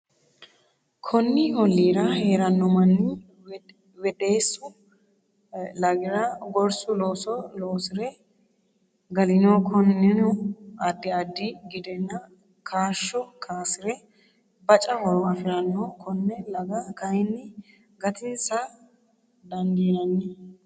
Konni olliira hee’ranno manni Woddeessu Lagira gorsu looso loosi’re galino Konninni addi addi gidenna kaashsho kaasi’re baca horo afi’ranno Konne laga kayinni gatinsa daandinani?